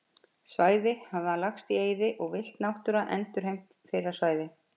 Svæði hafa lagst í eyði og villt náttúra endurheimt fyrri svæði.